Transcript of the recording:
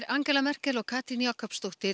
Angela Merkel og Katrín Jakobsdóttir